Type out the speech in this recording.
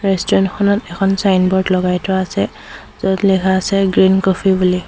Restaurant খনত এখন signboard লগাই থোৱা আছে য'ত লিখা আছে গ্ৰীণ কফি বুলি।